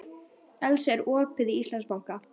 Elsa, er opið í Íslandsbanka?